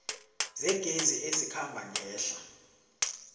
zegezi ezikhamba ngehla